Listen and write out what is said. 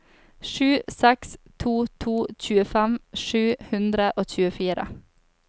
sju seks to to tjuefem sju hundre og tjuefire